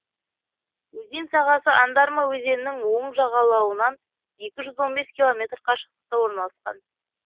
өзен сағасы андарма өзенінің оң жағалауынан екі жүз он бес километр қашықтықта орналасқан